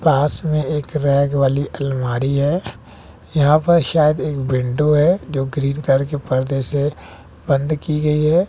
पास में एक रैंक वाली अलमारी है यहां पर शायद एक विंडो है जो ग्रीन कलर के पर्दे से बंद की गई है।